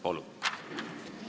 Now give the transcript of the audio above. Palun!